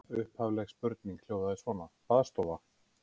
Upphafleg spurning hljóðaði svona: Baðstofa?